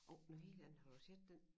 Oh med villaen har ud set den?